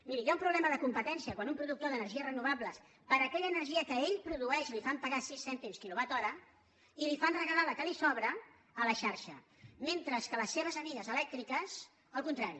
miri hi ha un problema de competència quan a un productor d’energies renovables per aquella energia que ell produeix li fan pagar sis cèntims kilowatt hora i li fan regalar la que li sobra a la xarxa mentre que a les seves amigues elèctriques al contrari